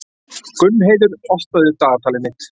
Gunnheiður, opnaðu dagatalið mitt.